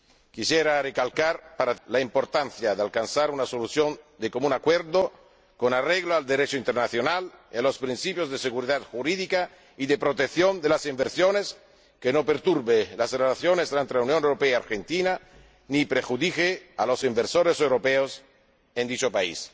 Quisiera recalcar la importancia de alcanzar una solución de común acuerdo con arreglo al Derecho internacional, los principios de seguridad jurídica y de protección de las inversiones que no perturbe las relaciones entre la Unión Europea y Argentina ni perjudique a los inversores europeos en dicho país.